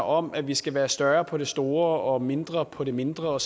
om at vi skal være større på det store og mindre på det mindre